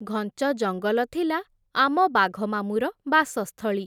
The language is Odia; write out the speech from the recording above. ଘଞ୍ଚ ଜଙ୍ଗଲ ଥିଲା, ଆମ ବାଘମାମୁଁର ବାସସ୍ଥଳୀ ।